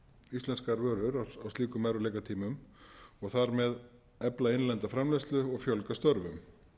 íslenskar vörur áslíkum erfiðleikatímum og þar með efla innlenda framleiðslu og fjölga störfum